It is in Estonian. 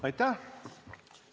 Aitäh!